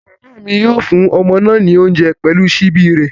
Bàbá mi yóò fún ọmọ náà ní oúnjẹ pẹ̀lú ṣíbí rẹ̀